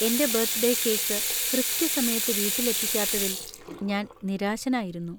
എന്‍റെ birthday cake കൃത്യസമയത്ത് വീട്ടിൽ എത്തിക്കാത്തതിൽ ഞാൻ നിരാശനായിരുന്നു.